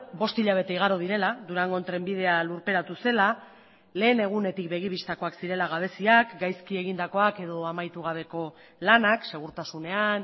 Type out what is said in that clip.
bost hilabete igaro direla durango trenbidea lurperatu zela lehen egunetik begi bistakoak zirela gabeziak gaizki egindakoak edo amaitu gabeko lanak segurtasunean